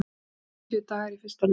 Fjörutíu dagar í fyrsta leikinn